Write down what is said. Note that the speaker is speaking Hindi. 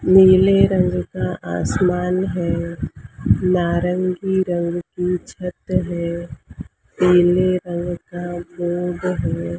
नीले रंग का आसमान है नारंगी रंग की छत है पीले रंग का बोर्ड है।